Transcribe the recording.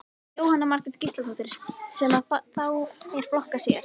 Jóhanna Margrét Gísladóttir: Sem að þá er flokkað sér?